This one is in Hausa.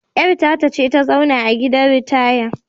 Yar tata ta ce ta zauna a gidan ritaya!